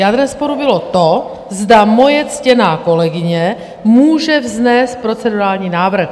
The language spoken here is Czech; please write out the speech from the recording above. Jádrem sporu bylo to, zda moje ctěná kolegyně může vznést procedurální návrh?